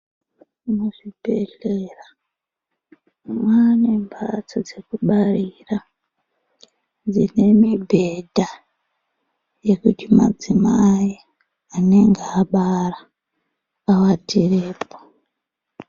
Muzvibhehlera mane mbatso dzekubarira dzine mubhedha yekuti madzimai anenge abara atirepo.